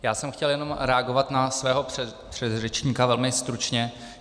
Já jsem chtěl jen reagovat na svého předřečníka, velmi stručně.